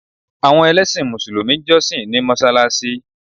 Àwọn ẹlẹ́sìn mùsùlùmí ń jọ́ṣì ní mọsáláṣí